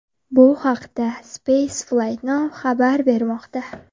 Bu haqda Spaceflightnow xabar bermoqda .